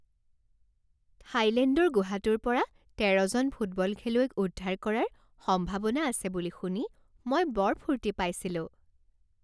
থাইলেণ্ডৰ গুহাটোৰ পৰা তেৰজন ফুটবল খেলুৱৈক উদ্ধাৰ কৰাৰ সম্ভাৱনা আছে বুলি শুনি মই বৰ ফূৰ্তি পাইছিলোঁ।